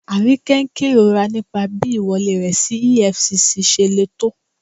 Aríkẹ́ n kẹrọ̀rà nípà bí iwọ̀lẹ̀ rẹ sí EFCC ṣè lé tó.